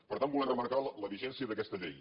per tant volem remarcar la vigència d’aquesta llei